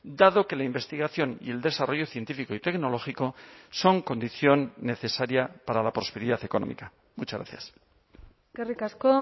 dado que la investigación y el desarrollo científico y tecnológico son condición necesaria para la prosperidad económica muchas gracias eskerrik asko